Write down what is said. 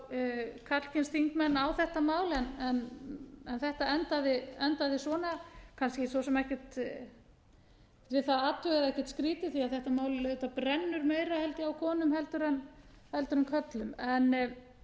fá karlkyns þingmenn á þetta mál en þetta endaði svona kannski svo sem ekkert við það að athuga eða ekkert skrýtið því að þetta mál auðvitað brennur meira held ég á konum en körlum